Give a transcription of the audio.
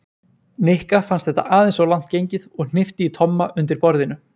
Nikka fannst þetta aðeins of langt gengið og hnippti í Tomma undir borðinu.